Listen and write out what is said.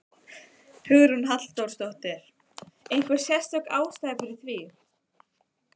Hugrún Halldórsdóttir: Einhver sérstök ástæða fyrir því?